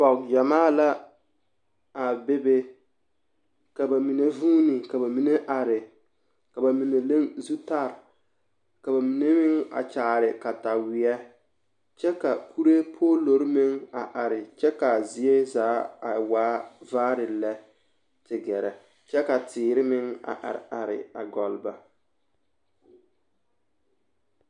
Pɔgegyɛmaa la a bebe ka bamine huuni ka bamine are ka bamine leŋ zutare ka bamine meŋ a kyaare kataweɛ kyɛ ka kuree poolori meŋ a are kyɛ ka a zie zaa a waa vaare lɛ te gɛrɛ kyɛ ka teere meŋ a are a gɔlle ba.